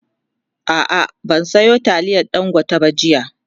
a'a ban Sayo taliyar dangote ba jiya